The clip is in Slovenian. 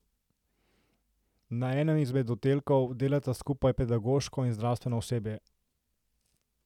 Na enem izmed oddelkov delata skupaj pedagoško in zdravstveno osebje.